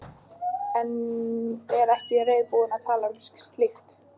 En er ekki reiðubúin að tala um slíkt.